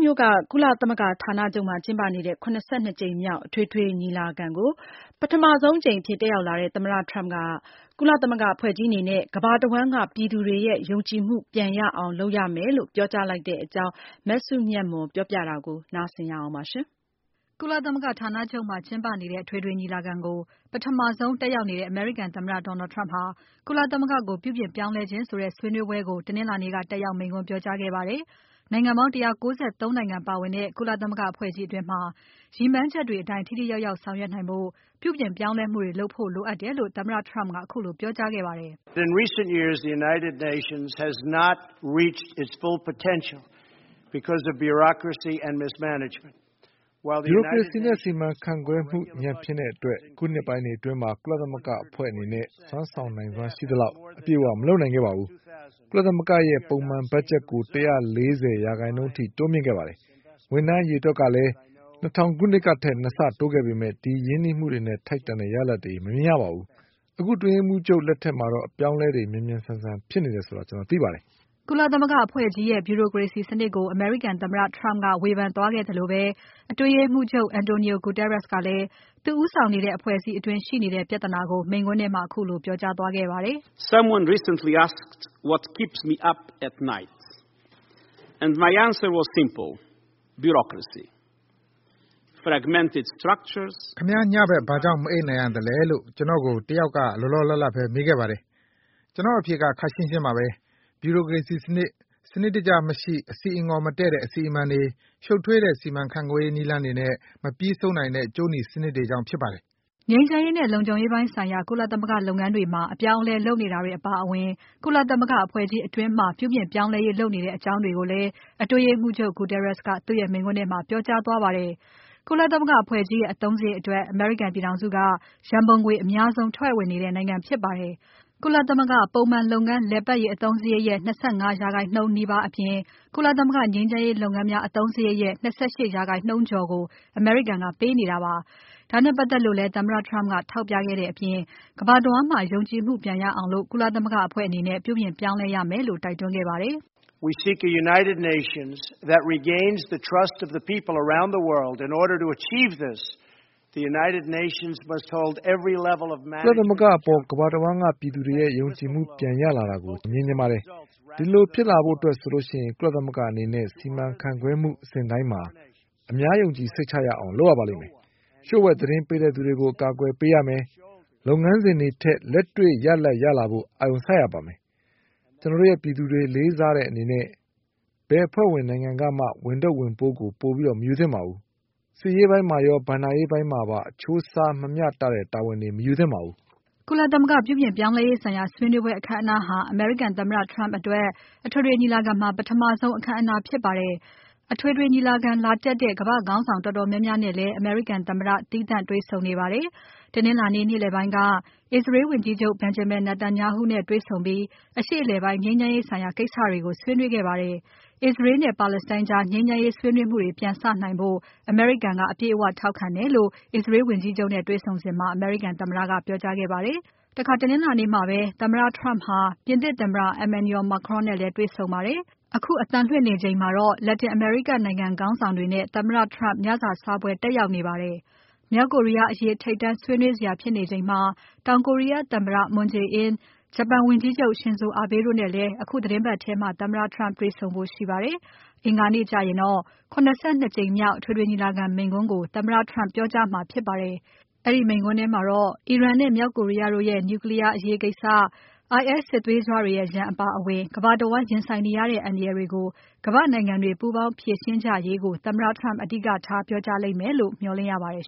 မြို့က ကုလသမဂ္ဂဌာနချုပ်မှာ ကျင်းပနေတဲ့ ၇၂ ကြိမ်မြောက် အထွေထွေညီလာခံကို ပထမဆုံး တက်ရောက်နေတဲ့ သမ္မတ Trump ဟာ တခြားကမ္ဘာ့ရေးရာတွေကိုလည်း နိုင်ငံခြားခေါင်းဆောင်တွေနဲ့ ဆွေးနွေးနေပါတယ်။ အပြည့်အစုံကို မစုမြတ်မွန်က ဆက်ပြီးတင်ပြပါမယ်။ ကုလသမဂ္ဂဌာနချုပ်မှာ ကျင်းပနေတဲ့ အထွေထွေညီလာခံကို ပထမဆုံးတက်ရောက်နေတဲ့ အမေရိကန်သမ္မတ Donald Trump ဟာ ကုလသမဂ္ဂကို ပြုပြင်ပြောင်းလဲခြင်းဆိုတဲ့ဆွေးနွေးပွဲကို တနင်္လာနေ့က တက်ရောက်မိန့်ခွန်းပြောကြားခဲ့ပါတယ်။ နိုင်ငံပေါင်း ၁၉၃ နိုင်ငံပါဝင်တဲ့ ကုလသမဂ္ဂအဖွဲ့ကြီးအတွင်းမှာ ရည်မှန်းချက်တွေအတိုင်း ထိထိရောက်ရောက်ဆောင်ရွက်နိုင်ဖို့ ပြုပြင်ပြောင်းလဲမှုတွေ လုပ်ဖို့လိုအပ်တယ်လို့ သမ္မတ Trump ကခုလိုပြောကြားခဲ့ပါတယ်။ "ဗျူရိုကရေစီစနစ်နဲ့ စီမံခန့်ခွဲမှု ညံ့ဖျင်းတဲ့အတွက် အခုနှစ်ပိုင်းတွေအတွင်း ကုလသမဂ္ဂအဖွဲ့ကြီးအနေနဲ့ စွမ်းဆောင်နိုင်စွမ်းရှိသလောက် အပြည့်အဝ မလုပ်နိုင်ခဲ့ပါဘူး။ ကုလသမဂ္ဂအဖွဲ့ရဲ့ ပုံမှန်ဘားဂျက်ကို ၁၄၀% အထိတိုးမြှင့်ခဲ့တယ်။ ဝန်ထမ်းအရေအတွက်အကလည်း ၂၀၀၀ ခုနှစ်ကထက် ၂ ဆ တိုးခဲ့ပေမဲ့ အဲဒီရင်းနှီးမှုတွေနဲ့ ထိုက်တန်တဲ့ ရလာဒ်တွေ မမြင်ရပါဘူး။ အခုအတွင်းရေးမှူးချုပ် လက်ထက်မှာတော့ အပြောင်းအလဲတွေ မြန်မြန်ဆန်ဆန်ဖြစ်နေတယ်ဆိုတာ ကျွန်တော်သိပါတယ်။" ကုလသမဂ္ဂအဖွဲ့ကြီးရဲ့ ဗျူရိုကရေစီစနစ်ကို အမေရိကန်သမ္မတ Trump ကဝေဖန်သွားခဲ့သလိုပဲ၊ အတွင်းရေးမှူးချုပ် Antonio Guterres ကလည်း သူဦးဆောင်နေတဲ့ အဖွဲ့အစည်းအတွင်းရှိနေတဲ့ ပြဿနာကို မိန့်ခွန်းထဲမှာ ခုလိုပြောကြားသွားခဲ့ပါတယ်။ "ခင်ဗျား ညဖက် ဘာကြောင့် မအိပ်နိုင်ရသလဲလို ကျွန်တော့်ကို တယောက်က လောလောလတ်လတ်ပဲ မေးခဲ့ပါတယ်။ ကျွန်တော့်အဖြေက ခပ်ရှင်းရှင်းပါပဲ။ ဗြူရိုကရေစီစနစ်၊ စနစ်တကျမရှိ အဆီအငေါ်မတည့်တဲ့ အစီအမံတွေ။ ရှုပ်ထွေးတဲ့ စီမံခန့်ခွဲရေးနည်းလမ်းတွေနဲ့ မပြီးဆုံးနိုင်တဲ့ ကြိုးနီစနစ်တွေကြောင့်ဖြစ်ပါတယ်။" ငြိမ်းချမ်းရေးနဲ့လုံခြုံရေးပိုင်းဆိုင်ရာ ကုလသမဂ္ဂလုပ်ငန်းတွေမှာ အပြောင်းအလဲ လုပ်နေတာတွေအပါအဝင် ကုလသမဂ္ဂအဖွဲ့ကြီးအတွင်းမှာ ပြုပြင်ပြောင်းလဲရေး လုပ်နေတဲ့အကြောင်းတွေကိုလည်းအတွင်းရေးမှူးချုပ် Guterres ကသူ့ရဲ့မိန့်ခွန်းထဲမှာ ပြောကြားသွားပါတယ်။ ကုလသမဂ္ဂအဖွဲ့ကြီးရဲ့ အသုံးစရိတ်အတွက် အမေရိကန်ပြည်ထောင်စုက ရန်ပုံငွေ အများဆုံးထည့်ဝင်နေတဲ့နိုင်ငံဖြစ်ပါတယ်။ ကုလသမဂ္ဂ ပုံမှန်လုပ်ငန်းလည်ပါတ်ရေး အသုံးစရိတ်ရဲ့ ၂၅% နီးပါးအပြင် ကုလသမဂ္ဂငြိမ်းချမ်းရေးလုပ်ငန်းအသုံးစရိတ်ရဲ့ ၂၈% ကျော်အမေရိကန်ကပေးနေတာပါ။ ဒါနဲ့ပတ်သက်လို့လည်း သမ္မတ Trump က ထောက်ပြခဲ့တဲ့အပြင် ကမ္ဘာတဝန်းမှာ ယုံကြည်မှုပြန်ရအောင် ကုလသမဂ္ဂအဖွဲ့အနေနဲ့ ပြုပြင်ပြောင်းလဲရမယ်လို့တိုက်တွန်းခဲ့ပါတယ်။ "ကုလသမဂ္ဂအဖွဲ့ကြီးအပေါ် ကမ္ဘာတဝန်းက ပြည်သူတွေရဲ့ ယုံကြည်မှုပြန်ရလာတာကို ကျွန်တော်တို့မြင်ချင်ပါတယ်။ အဲဒီလိုဖြစ်လာဖို့အတွက်ဆိုရင် ကုလသမဂ္ဂအဖွဲ့အနေနဲ့ စီမံခန့်ခွဲမှုအဆင့်တိုင်းမှာ အများယုံကြည်စိတ်ချမှုရအောင်လုပ်ရပါမယ်။ လှုျိ့ဝှက်သတင်းပေးသူတွေကို အကာအကွယ်ပေးရပါမယ်။ လုပ်ငန်းစဉ်တွေထက် လက်တွေ့ရလဒ်ရလာဖို့ အာရုံစိုက်ရပါမယ်။ ကျွန်တော်တိုရဲ့ပြည်သူတွေလေးစားတဲ့အနေနဲ့ ဘယ်အဖွဲ့ဝင်နိုင်ငံကမှ ဝန်ထုပ်၊ ဝန်ပိုးကို ပိုပြီးမယူသင့်ပါဘူး။ စစ်ရေးပိုင်းမှာရော ဘဏ္ဍာရေးပိုင်းမှာပါ အချိုးအစားမမျှတဲ့ တာဝန်တွေ မယူသင့်ပါဘူး။" ကုလသမဂ္ဂပြုပြင်ပြောင်းလဲရေးဆိုင်ရာ ဆွေးနွေးပွဲအခမ်းအနားဟာ အမေရိကန်သမ္မတ Trump အတွက် အထွေထွေညီလာခံမှာ ပထမဆုံး အခမ်းအနားဖြစ်ပါတယ်။ အထွေထွေညီလာခံလာတက်တဲ့ ကမ္ဘာခေါင်းဆောင်တော်တော်များများနဲ့လည်း အမေရိကန်သမ္မတ သီးသန့်တွေ့ဆုံနေ ပါတယ်။ တနင်္လာနေ့ နေ့လည်ပိုင်းက အစ္စရေးဝန်ကြီးချုပ် Benjamin Netanyahu နဲ့တွေ့ဆုံပြီး အရှေ့အလယ်ပိုင်း ငြိမ်းချမ်းရေးဆိုင်ရာကိစ္စတွေကို ဆွေးနွေးခဲ့ပါတယ်။ အစ္စရေးနဲ့ပါလက်စတိုင်းကြား ငြိမ်းချမ်းရေးဆွေးနွေးမှုတွေပြန်စနိုင်ဖို့ အမေရိကန်က အပြည့်အဝထောက်ခံတယ်လို့ အစ္စရေးဝန်ကြီးချုပ်နဲ့တေ့ွဆုံစဉ်မှာ အမေရိကန်သမ္မတက ပြောကြားခဲ့ပါတယ်။ တနင်္လာနေ့ကပဲ သမ္မတ Trump ဟာ ပြင်သစ်သမ္မတ Emmanuel Macron နဲ့လည်းတွေ့ဆုံပါတယ်။ တနင်္လာနေ့ ညပိုင်း အခုအသံလွှင့်နေချိန်မှာတော့ လက်တင်အမေရိကနိုင်ငံခေါင်းဆောင်တွေနဲ့ သမ္မတ Trump ညစာစားပွဲတက်ရောက်နေပါတယ်။ မြောက်ကိုရီးယားအရေး ထိပ်တန်းဆွေးနွေးစရာဖြစ်နေချိန်မှာ တောင်ကိုရီးယားသမ္မတ Moon Jae-in ဂျပန်ဝန်ကြီးချုပ် Shinzo Abe တို့နဲ့လည်း အခုသီတင်းပတ်ထဲမှာ တေ့ွဆုံဖို့ရှိနေပါတယ်။ အင်္ဂါနေ့ကျရင်တော့ ၇၂ ကြိမ်မြောက် အထွေထွေ ညီလာခံမိန့်ခွန်းကို သမ္မတ Trump ပြောကြားမှာဖြစ်ပါတယ်။ အဲဒီမိန်ခွန်းမှာ အီရန်နဲ့ မြောက်ကိုရီးယားတို့ရဲ့ Nuclear အရေးကိစ္စ၊ IS စစ်သွေးကြွတွေရဲ့ ရန်အပါအဝင် ကမ္ဘာတဝန်းရင်ဆိုင်နေရတဲ့ အန္တရာယ်တွေကို ကမ္ဘာ့နိုင်ငံတွေ ပူးပေါင်းဖြေရှင်းကြရေးကို သမ္မတ Trump အဓိကထားပြောကြားမယ်လို့ မျှော်လင့်ရပါတယ်